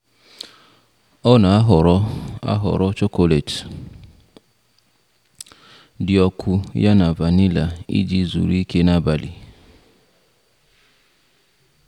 Ọ na ahọrọ ahọrọ chocolate di ọkụ ya na vanilla iji zùru ike n'abali.